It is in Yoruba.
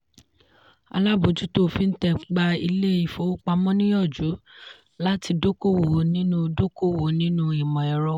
alábòjútó fintech gbà ilé ifowopamọ́ níyànjú láti dókòwò nínú dókòwò nínú imọ̀ ẹ̀rọ.